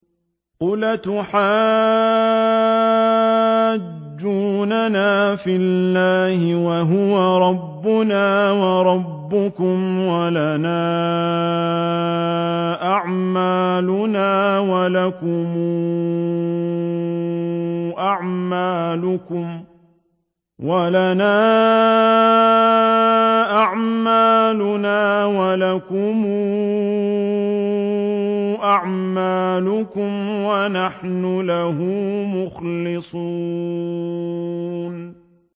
قُلْ أَتُحَاجُّونَنَا فِي اللَّهِ وَهُوَ رَبُّنَا وَرَبُّكُمْ وَلَنَا أَعْمَالُنَا وَلَكُمْ أَعْمَالُكُمْ وَنَحْنُ لَهُ مُخْلِصُونَ